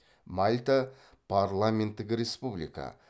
мальта парламенттік республика